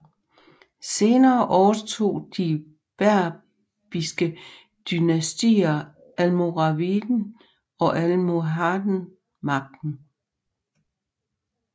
Senere overtog de berbiske dynastier Almoraviden og Almohaden magten